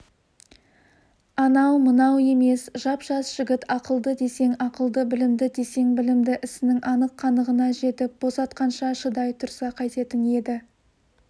анау-мынау емес жап-жас жігіт ақылды десең ақылды білімді десең білімді ісінің анық-қанығына жетіп босатқанша шыдай тұрса қайтетін еді